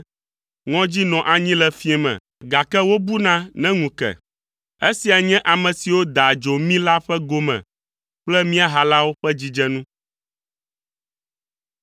Ŋɔdzi nɔa anyi le fiẽ me, gake wobuna ne ŋu ke. Esia nye ame siwo daa adzo mí la ƒe gome kple mía halawo ƒe dzidzenu.